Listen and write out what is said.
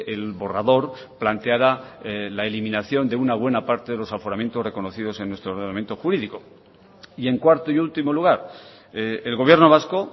el borrador planteara la eliminación de una buena parte de los aforamientos reconocidos en nuestro ordenamiento jurídico y en cuarto y último lugar el gobierno vasco